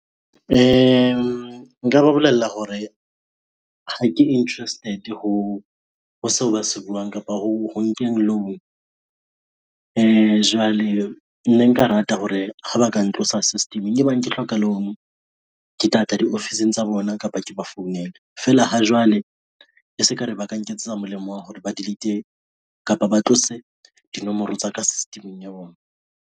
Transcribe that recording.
Nka ba bolella hore ha ke interested ho seo ba se buang kapa ho nkeng loan. Jwale ne nka rata hore ha ba ka nka ho sa system-eng e bang ke hloka loan ke tlatla diofising tsa bona, kapa ke ba founele, feela ha jwale e se kare ba ka nketsetsa molemo wa hore ba delete-e kapa ba tlose dinomoro tsa ka system-eng ya bona.